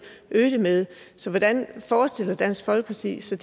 øge det med så hvordan forestiller dansk folkeparti sig